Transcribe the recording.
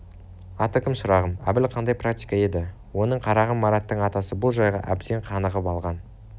атың кім шырағым әбіл қаңдай практика еді оның қарағым мараттың атасы бұл жайға әбден қанығып алған